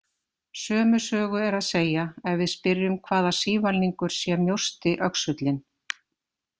Sömu sögu er að segja ef við spyrjum hvaða sívalningur sé mjósti öxullinn.